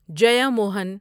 Jeyamohan